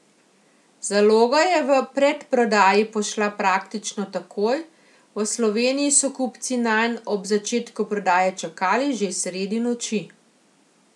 Zaloga je v predprodaji pošla praktično takoj, v Sloveniji so kupci nanj ob začetku prodaje čakali že sredi noči.